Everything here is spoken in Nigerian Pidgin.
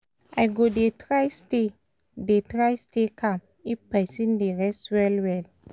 i go dey try stay dey try stay calm if person dey rest well well.